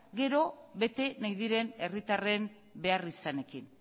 gero bete nahi diren herritarren beharrizanekin